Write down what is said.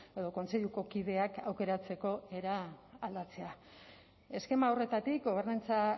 edo kontseiluko kideak aukeratzeko era aldatzea eskema horretatik gobernantza